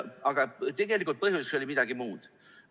Aga põhjus oli tegelikult midagi muud.